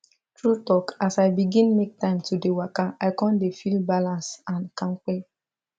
true talk as i begin make time to dey waka i come dey feel balance and kampe